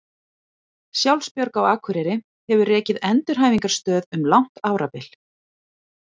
Sjálfsbjörg á Akureyri hefur rekið endurhæfingarstöð um langt árabil.